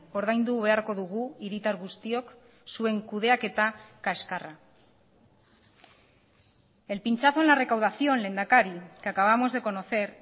ordaindu beharko dugu hiritar guztiok zuen kudeaketa kaxkarra el pinchazo en la recaudación lehendakari que acabamos de conocer